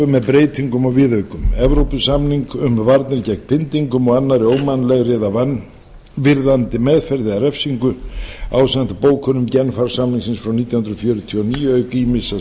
með breytingum og viðaukum evrópusamning um varnir gegn pyndingum og annarri ómannlegri eða vanvirðandi meðferð eða refsingu ásamt bókunum genfarsamningana frá nítján hundruð fjörutíu og níu auk ýmissa